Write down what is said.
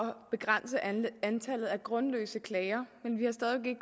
begrænse antallet af grundløse klager men vi har stadig